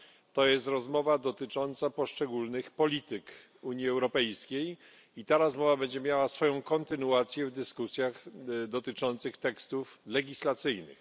To jest rozmowa dotycząca poszczególnych polityk Unii Europejskiej i ta rozmowa będzie miała swoją kontynuację w dyskusjach dotyczących tekstów legislacyjnych.